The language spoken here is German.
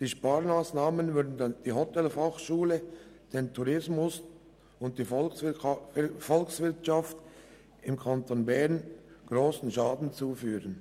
Die Sparmassnahmen würden der Hotelfachschule, dem Tourismus und der Volkswirtschaft im Kanton Bern grossen Schaden zufügen.